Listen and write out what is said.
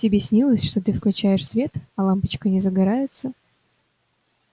тебе снилось что ты включаешь свет а лампочка не загорается